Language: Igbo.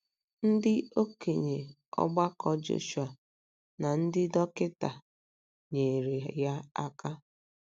Ndị okenye ọgbakọ Joshua na ndị dọkịta nyeere ya aka.